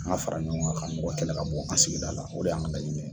An ka fara ɲɔgɔn kan ka mɔgɔ kɛlɛ ka bon an ka sigida la o de y'an ka laɲini ye